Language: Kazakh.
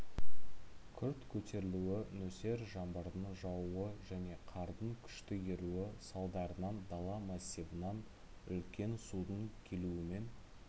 күрт көтерілуі нөсер жаңбырдың жаууы және қардың күшті еруі салдарынан дала массивынан үлкен судын келуімен